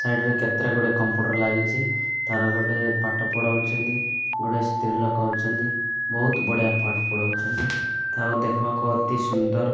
Side ରେ କେତେ ଗୋଟିଏ କମ୍ପ୍ୟୁଟର ଲାଗିଚି ତାର ଗୋଟେ ପାଠ ପଢ଼ୁଛନ୍ତି ଗୋଡ଼ାଇ ସ୍ତ୍ରୀ ଲୋକ ଅଛନ୍ତି ବୋହୁତ ବଢ଼ିଆ ପାଠ ପଢ଼ାଉଛନ୍ତି ଆଉ ଦେଖି ବାକୁ ଅତି ସୁନ୍ଦର।